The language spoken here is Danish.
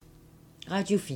Radio 4